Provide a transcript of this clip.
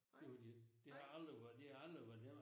Gjorde de ikke. Det har aldrig været det har aldrig været dem jamen